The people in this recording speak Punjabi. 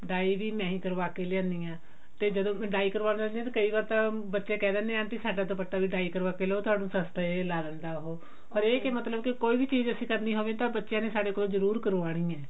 dye ਵੀ ਮੈਂ ਹੀ ਕਰਵਾ ਕਿ ਲਿਆਉਂਦੀ ਹਾਂ ਤੇ ਜਦੋਂ dye ਕਰਵਾਉਣ ਜਾਂਦੀ ਹਾਂ ਤਾਂ ਕਈ ਵਾਰ ਤਾਂ ਬੱਚੇ ਕਿਹ ਦਿੰਨੇ aunty ਸਾਡਾ ਦੁਪੱਟਾ ਵੀ dye ਕਰਵਾ ਕਿ ਲਿਆਉ ਵੀ ਉਹ ਥੋਨੂੰ ਸਸਤੇ ਲਗਾ ਦਿੰਦਾ ਉਹ ਹਰੇਕ ਹੀ ਮਤਲਬ ਕੀ ਕੋਈ ਵੀ ਚੀਜ਼ ਅਸੀਂ ਕਰਨੀ ਹੋਵੇ ਤਾਂ ਬੱਚਿਆਂ ਨੇ ਸਾਡੇ ਕੋਲੋਂ ਜਰੁਰ ਕਰਵਾਉਣੀ ਹੈ